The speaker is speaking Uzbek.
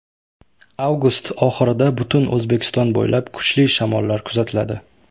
Avgust oxirida butun O‘zbekiston bo‘ylab kuchli shamollar kuzatiladi.